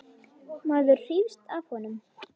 Maður hrífst af honum.